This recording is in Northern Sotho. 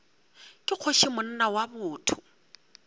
ke kgoši monna wa botho